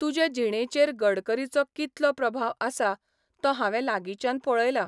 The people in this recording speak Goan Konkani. तुजे जिणेचेर गडकरीचो कितलो प्रभाव आसा तो हावें लागींच्यान पळयला.